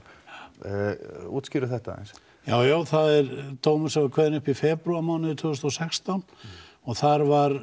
útskýrðu þetta aðeins já já það er dómur sem var kveðinn upp í febrúarmánuði tvö þúsund og sextán og þar var